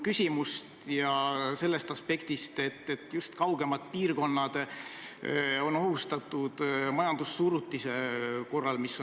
Küsin sellest aspektist, et just kaugemad piirkonnad on majandussurutise korral ohustatud.